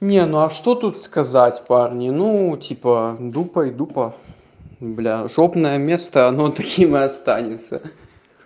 не ну а что тут сказать парни ну типа дупа и дупа блядь жопное место оно таким и останется